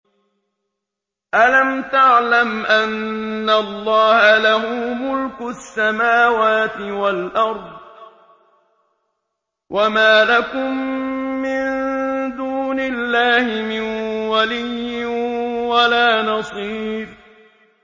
أَلَمْ تَعْلَمْ أَنَّ اللَّهَ لَهُ مُلْكُ السَّمَاوَاتِ وَالْأَرْضِ ۗ وَمَا لَكُم مِّن دُونِ اللَّهِ مِن وَلِيٍّ وَلَا نَصِيرٍ